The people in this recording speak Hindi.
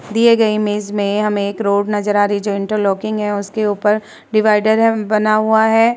दिए गए इमेज में हमे एक रोड नज़र आ रही है जो इंटर लॉकिंग है और उसके ऊपर डीवायडर बना हुआ है।